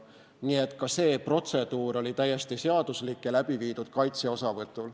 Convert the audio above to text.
Nii et ka see protseduur oli täiesti seaduslik ja läbi viidud kaitsja osavõtul.